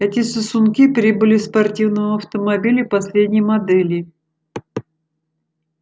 эти сосунки прибыли в спортивном автомобиле последней модели